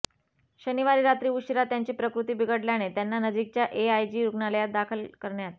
शनिवारी रात्री उशिरा त्यांची प्रकृती बिघडल्याने त्यांना नजीकच्या एआयजी रुग्णालयात दाखल करण्यात